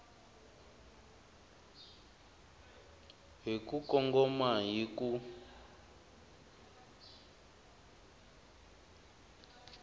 hi ku kongoma hi ku